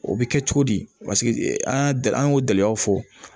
O bɛ kɛ cogo di paseke an y'a an y'o gɛlɛyaw fɔ